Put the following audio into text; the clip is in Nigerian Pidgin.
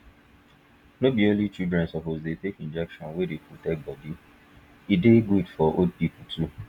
no be only children suppose dey take injection wey dey protect body e dey good for old people too